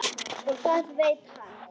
Og það veit hann.